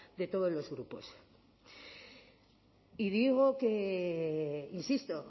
de todos los grupos y digo que insisto